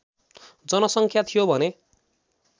जनसङ्ख्या थियो भने